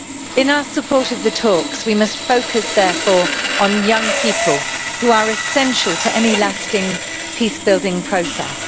In our support for the talks, we must focus therefore on young people, who are essential to any lasting peace building process.